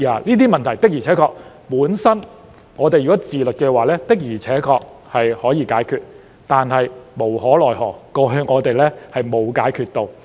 如果議員自律的話，本應可以解決這些問題；但無可奈何，我們過去沒有解決到。